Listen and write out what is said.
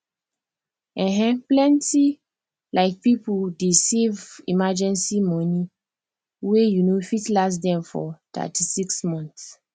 um plenty um people dey save emergency money wey um fit last dem for thity six months